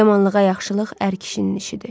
Yamanlığa yaxşılıq ər kişinin işidir.